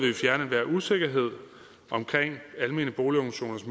vil usikkerhed om almene boligorganisationers